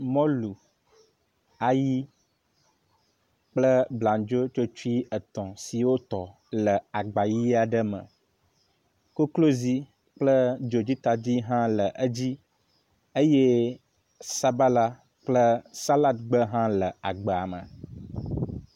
Mɔlu, ayi kple blandzotsotsoe etɔ̃ si wotɔ le agba ʋi aɖe me. Koklozi kple dzodzitadi hã le edzi eye sabala kple salad gbe hã le agba me.